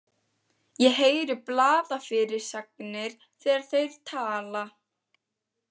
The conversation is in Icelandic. Ég heyri blaðafyrirsagnir þegar þeir tala.